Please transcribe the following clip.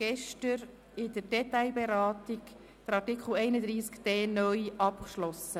Gestern haben wir in der Detailberatung Artikel 31d (neu) abgeschlossen.